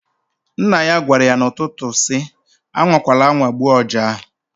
Nna ya gwara ya n'ụtụtụ si, "A nwakwala anwa gbuo ọja ahụ!"